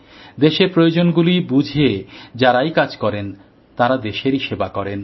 দেশের প্রয়োজনগুলি বুঝে যারাই কাজ করেন তারা দেশেরই সেবা করেন